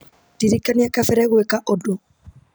ndirikania kabere gwĩka ũndũ